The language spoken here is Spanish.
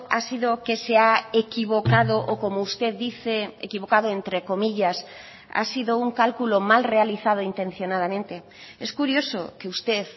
ha sido que se ha equivocado o como usted dice equivocado entre comillas ha sido un cálculo mal realizado intencionadamente es curioso que usted